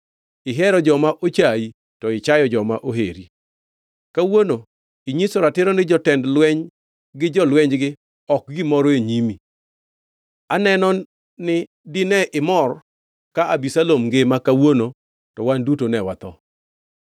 Ihero joma ochayi to ichayo joma oheri. Kawuono inyiso ratiro ni jotend lweny gi jolwenygi ok gimoro e nyimi. Aneno ni dine imor ka Abisalom ngima kawuono to wan duto ne watho.